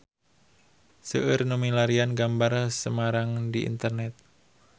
Seueur nu milarian gambar Semarang di internet